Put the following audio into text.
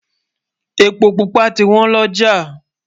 èpo púpà tí wọn loja